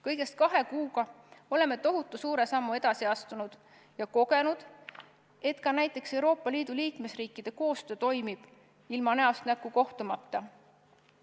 Kõigest kahe kuuga oleme tohutu suure sammu edasi astunud ja kogenud, et ka näiteks Euroopa Liidu liikmesriikide koostöö toimib ilma näost näkku kohtumata.